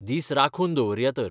दीस राखून दवरया तर.